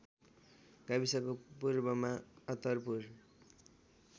गाविसको पूर्वमा अत्तरपुर